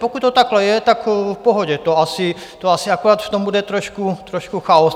Pokud to takhle je, tak v pohodě, to asi akorát v tom bude trošku chaos.